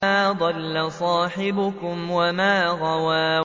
مَا ضَلَّ صَاحِبُكُمْ وَمَا غَوَىٰ